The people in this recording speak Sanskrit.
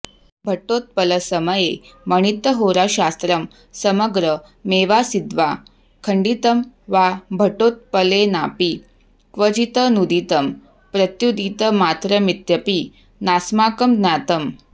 भट्टोत्पलसमये मणित्थहोराशास्त्रं समग्र मेवासीद्वा खण्डितं वा भट्टोत्पलेनापि क्वचिदनूदितं प्रत्युदितमात्रमित्यपि नास्माकं ज्ञातम्